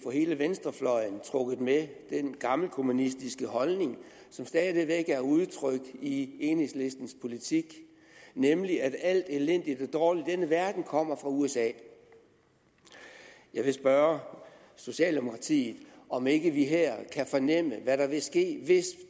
få hele venstrefløjen trukket med i den gammelkommunistiske holdning som stadig væk er udtrykt i enhedslistens politik nemlig at alt elendigt og dårligt i denne verden kommer fra usa jeg vil spørge socialdemokratiet om ikke vi her kan fornemme hvad der vil ske hvis